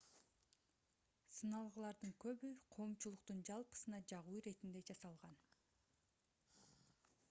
сыналгылардын көбү коомчулуктун жалпысына жагуу иретинде жасалган